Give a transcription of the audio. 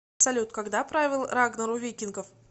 салют когда правил рагнар у викингов